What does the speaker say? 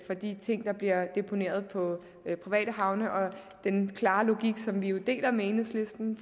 de ting der bliver deponeret på private havne og den klare logik som vi jo deler med enhedslisten